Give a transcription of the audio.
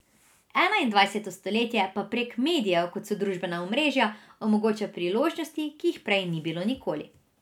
Enaindvajseto stoletje pa prek medijev, kot so družbena omrežja, omogoča priložnosti, ki jih prej ni bilo nikoli.